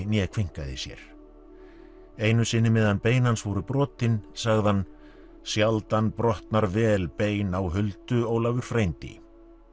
né kveinkaði sér einu sinni meðan bein hans voru brotin sagði hann sjaldan brotnar vel bein á huldu Ólafur frændi